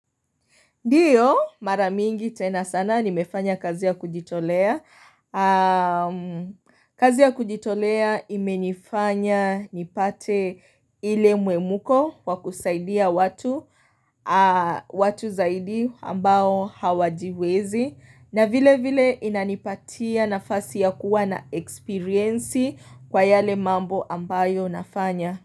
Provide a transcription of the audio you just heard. Ndiyo maramingi tena sana nimefanya kazi ya kujitolea. Kazi ya kujitolea imenifanya nipate ile mwemuko wa kusaidia watu zaidi ambao hawajiwezi. Na vile vile inanipatia nafasi ya kuwa na eksperiensi kwa yale mambo ambayo nafanya.